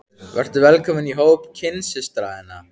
Vertu velkomin í hóp kynsystra þinna.